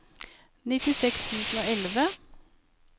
nittiseks tusen og elleve